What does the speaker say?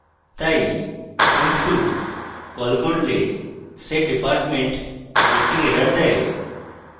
তাই emp2 call করলে setdepartment একটি error দেয়